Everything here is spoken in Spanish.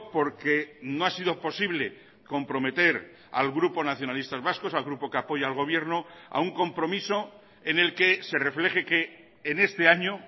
porque no ha sido posible comprometer al grupo nacionalistas vascos al grupo que apoya al gobierno a un compromiso en el que se refleje que en este año